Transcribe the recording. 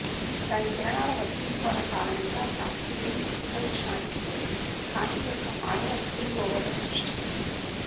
దాని కిరణాల వక్రీభవన కారణంగా కాస్కేడింగ్ క్రిస్టల్ షాన్డిలియర్ కాంతి యొక్క మాయా స్పిల్ ఓవర్లను సృష్టిస్తుంది